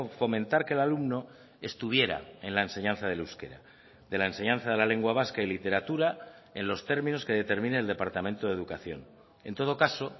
fomentar que el alumno estuviera en la enseñanza del euskera de la enseñanza de la lengua vasca y literatura en los términos que determine el departamento de educación en todo caso